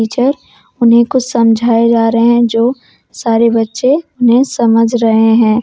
Teacher उन्हें कुछ समझाए जा रहे हैं जो सारे बच्चे उन्हें समझ रहे हैं।